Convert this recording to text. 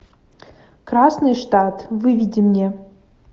красный штат выведи мне